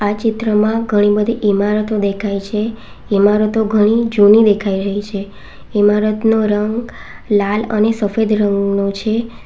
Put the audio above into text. ચિત્રમાં ઘણી બધી ઇમારતો દેખાય છે ઈમારતો ઘણી જૂની દેખાઈ રહી છે ઇમારતનો રંગ લાલ અને સફેદ રંગનો છે.